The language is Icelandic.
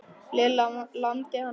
Lilla lamdi hann frá.